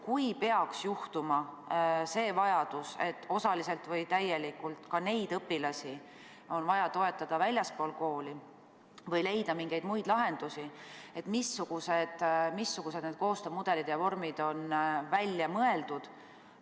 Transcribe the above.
Kui peaks juhtuma, et osaliselt või täielikult on neid õpilasi vaja toetada väljaspool kooli või leida mingeid muid lahendusi õppeks, missugused koostöömudelid ja -vormid on välja mõeldud?